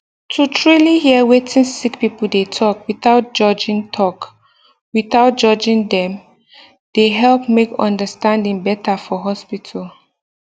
to truly hear wetin sick people dey talk without judging talk without judging dem dey help make understanding better for hospital